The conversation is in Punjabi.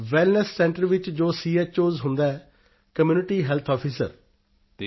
ਵੈੱਲਨੈੱਸ ਸੈਂਟਰ ਵਿੱਚ ਜੋ ਚੋਸ ਹੁੰਦਾ ਹੈ ਕਮਿਊਨਿਟੀ ਹੈਲਥ ਆਫੀਸਰ